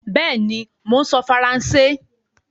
Bẹ́ẹ̀ni, mò ń sọ Faransé